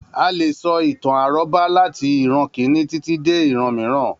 A leè sọ ìtàn àrọ́bá latí ìran Kínní títí dé ìran mìíràn.